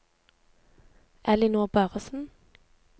Ellinor Børresen